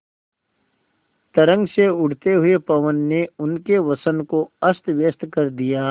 तरंग से उठते हुए पवन ने उनके वसन को अस्तव्यस्त कर दिया